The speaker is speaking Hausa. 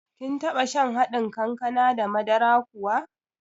Kin taɓa shan haɗin kankana da madara kuwa?